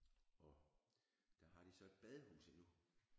Og der har de så et badehus endnu